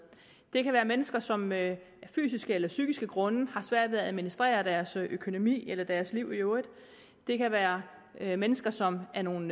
det kan være mennesker som af fysiske eller psykiske grunde har svært ved at administrere deres økonomi eller deres liv i øvrigt det kan være være mennesker som af nogle